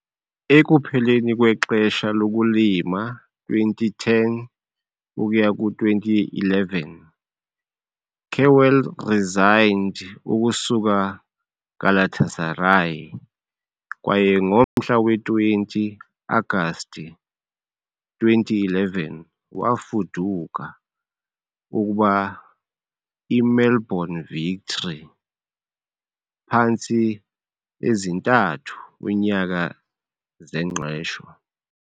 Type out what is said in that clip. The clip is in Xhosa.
Ekupheleni kwexesha lokulima 2010-2011, Kewell resigned ukusuka Galatasaray , kwaye ngomhla we-20 agasti 2011, wafuduka ukuba i-melbourne Victory, phantsi ezintathu --- -unyaka zengqesho.